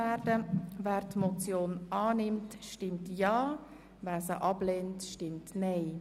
Wer die Motion annehmen will, stimmt Ja, wer sie ablehnt, stimmt Nein.